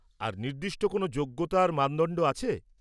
আর, নির্দিষ্ট কোন যোগ্যতার মানদণ্ড আছে?